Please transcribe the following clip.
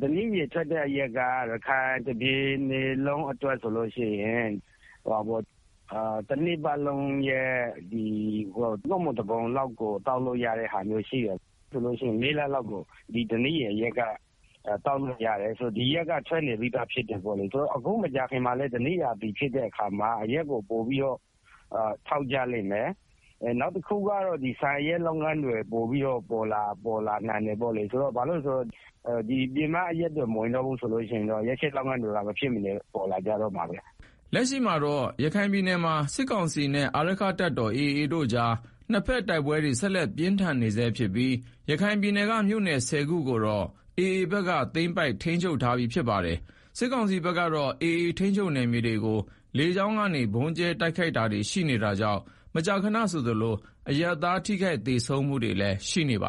ဓနိရည်ထွက်တဲ့ အရက်က ရခိုင်တပြည်နယ်လုံးအတွက် ဆိုလို့ရှိရင် တနှစ်ပတ်လုံး ၃ ပုံ ၁ ပုံလောက်ကို သောက်လို့ရတဲ့ အနေအထားရှိတယ်။ ဥပမာ ပြောရရင် ၁၂ လဆိုလို့ရှိရင် ၄ လလောက်ကို ဒီဓနိရည်အရက်က သောက်လို့ရတယ်။ ဒီအရက်ကလည်းထွက်နေပြီးသားဖြစ်တယ်။ အခုမကြာခင်မှာလည်း ဓနိရာသီဖြစ်တဲ့အခါမှာ အရက်ကို ပိုပြီးတော့ ထုတ်ကြလိမ့်မယ်။ နောက်တခုကတော့ ဆန်အရက်ချက်လုပ်ငန်းတွေ ပိုပြီးတော့ ပေါ် လာနိုင်တယ်။ ပြည်မအရက်တွေမဝင်တော့ဘူးဆိုရင် ဒီအရက်ချက်လုပ်ငန်းတွေ ပေါ်ကိုပေါ် လာလိမ့်မယ်။” လက်ရှိမှာတော့ ရခိုင်ပြည်နယ်မှာ စစ်ကောင်စီနဲ့ အာရက္ခတပ်တော်AA ကြား နှစ်ဘက်တိုက်ပွဲတွေ ဆက်လက်ပြင်းထန်နေဆဲဖြစ်ပြီး ရခိုင်ပြည်နယ်က မြို့နယ် ၁ဝ ခုကိုတော့ AA ဘက်က သိမ်းပိုက်ထိန်းချုပ်ထားပြီး ဖြစ်ပါတယ်။ စစ်ကောင်စီဘက်ကတော့ AAထိန်းချုပ် နယ်မြေတွေကို လေကြောင်းဗုံးကြဲတာတွေရှိနေတာကြောင့် မကြာခဏဆိုသလိုအရပ်သား ထိခိုက်သေဆုံးတာတွေရှိနေတာပါ